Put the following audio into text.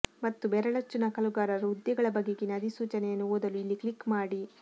ಮತ್ತು ಬೆರಳಚ್ಚು ನಕಲುಗಾರರು ಹುದ್ದೆಗಳ ಬಗೆಗಿನ ಅಧಿಸೂಚನೆಯನ್ನು ಓದಲು ಇಲ್ಲಿ ಕ್ಲಿಕ್ ಮಾಡಿ